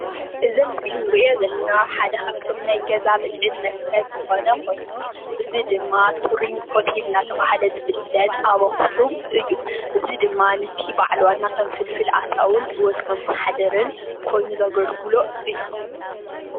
እዚ ኣብ ምስሊ እንሪኦ ዘለና ሓደ ካብ ናይ ገዛ ብልዕን መስተን ዝኾነ ኮይኑ እዚ ድማ ቱሪንግ ሆቴል እናተባህለ ዝፍለጥ ኣብ ኣኽሱም እዩ፡፡ እዚ ድማ ነቲ በዓል ዋና ከም ፍልፍል ኣታውን ሂወት መመሓደርን ኮይኑ ዘገልግሎ እዩ፡፡